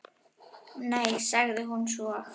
Nei, sagði hún svo.